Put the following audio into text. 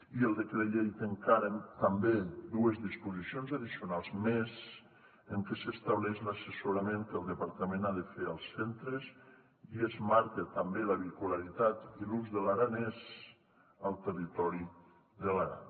i el decret llei té encara també dues disposicions addicionals més en què s’estableix l’assessorament que el departament ha de fer als centres i es marca també la bipolaritat i l’ús de l’aranès al territori de l’aran